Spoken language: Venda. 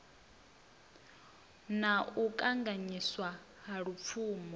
na u kanganyiswa ha lupfumo